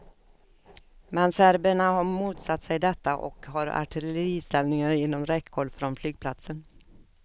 Men serberna har motsatt sig detta och har artilleriställningar inom räckhåll från flygplatsen.